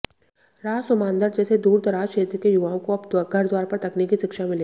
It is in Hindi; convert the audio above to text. रासूमांदर जैसे दूरदराज क्षेत्र के युवाओं को अब घरद्वार पर तकनीकी शिक्षा मिलेगी